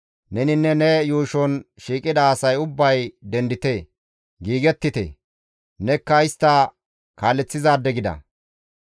« ‹Neninne ne yuushon shiiqida asay ubbay dendite; giigettite; nekka istta kaaleththizaade gida.